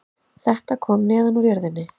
Þetta kom neðan úr jörðinni